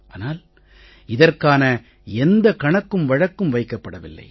ஆனால் இதற்கான எந்த கணக்கு வழக்கும் வைக்கப்படவில்லை